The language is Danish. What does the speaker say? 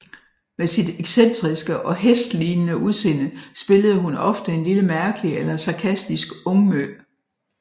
Med sit excentriske og hestlignende udseende spillede hun ofte en lille mærkelig eller sarkastisk ungmø